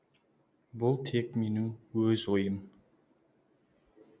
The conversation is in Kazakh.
бұл тек менің өз ойым